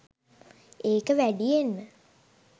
ඒක වැඩියෙන්ම